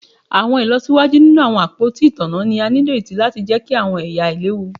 Awọn ilọsiwaju ninu awọn apoti itanna ni a nireti lati jẹki awọn ẹya ailewu